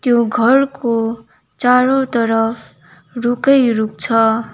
त्यो घरको चारोतर्फ रुखै रुख छ।